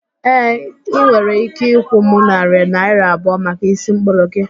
Ee, ị nwere ike ịkwụ m narị naịra abụọ maka ísí mkpụrụ gị